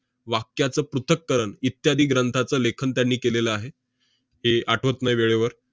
वाक्याचं पृथ्थकरण इत्यादी ग्रंथाचं लेखन त्यांनी केलेलं आहे. ते आठवत नाही वेळेवर.